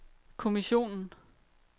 kommissionen